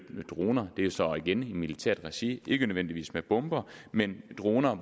droner det er så igen i militært regi ikke nødvendigvis med bomber men droner